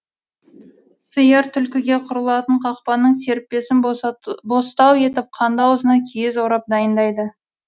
суыр түлкіге құрылатын қақпанның серіппесін бостау етіп қанды аузына киіз орап дайындайды